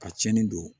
Ka tiɲɛni don